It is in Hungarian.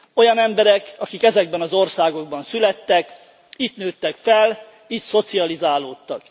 Olyan emberek, akik ezekben az országokban születtek, itt nőttek fel, itt szocializálódtak.